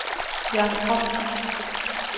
Jørn From